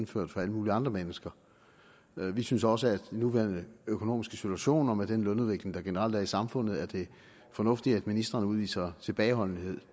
for alle mulige andre mennesker vi synes også at med den nuværende økonomiske situation og med den lønudvikling der generelt er i samfundet er det fornuftigt at ministrene udviser tilbageholdenhed